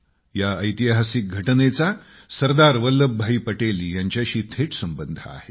या ऐतिहासिक घटनेचा सरदार वल्लभभाई पटेल यांच्याशी थेट संबंध आहे